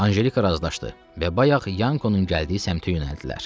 Anjelika razılaşdı və bayaq Yankonun gəldiyi səmtə yönəldilər.